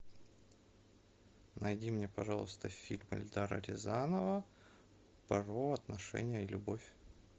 найди мне пожалуйста фильм эльдара рязанова про отношения и любовь